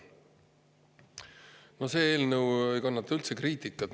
Aga no see eelnõu ei kannata üldse kriitikat.